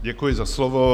Děkuji za slovo.